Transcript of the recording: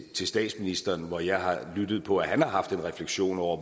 til statsministeren hvor jeg har lyttet på at han har haft en refleksion over